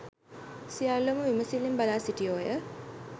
සියල්ලෝම විමසිල්ලෙන් බලා සිටියෝය